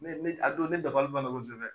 Ne ne a don ne dabali banna kosɛbɛ.